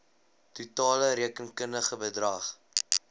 totale rekenkundige bedrag